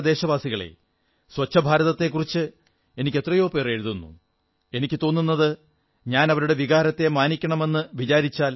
എന്റെ പ്രിയപ്പെട്ട ദേശവാസികളേ സ്വച്ഛഭാരതത്തെക്കുറിച്ച് എനിക്ക് എത്രയോ പേർ എഴുതുന്നു എനിക്കു തോന്നുന്നത് ഞാൻ അവരുടെ വികാരത്തെ മാനിക്കണമെന്നാണ്